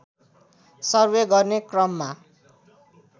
survey गर्ने क्रममा